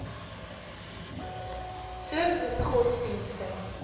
so vele godsdienste